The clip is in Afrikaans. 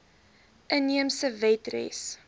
inheemse wet res